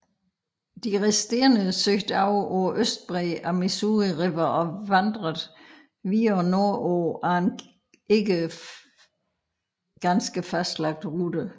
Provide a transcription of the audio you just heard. De resterende søgte over på østbredden af Missouri River og vandrede videre nordpå ad en ikke ganske fastlagt rute